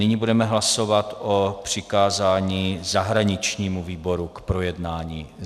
Nyní budeme hlasovat o přikázání zahraničnímu výboru k projednání.